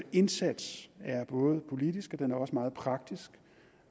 indsats er både politisk og den er også meget praktisk